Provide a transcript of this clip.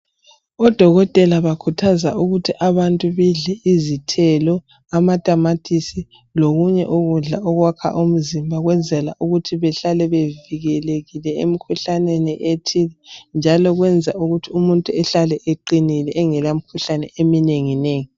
ODokotela bakhuthaza ukuthi abantu bedle izithelo, amatamatisi lokunye ukudla okwakha umzimba ukwenzela ukuthi behlale bevikelekile emkhuhlaneni ethile, njalo kwenza ukuthi umuntu ehlale eqinile engelamkhuhlane eminenginengi.